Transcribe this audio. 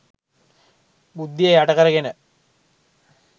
බුද්ධිය යට කරගෙන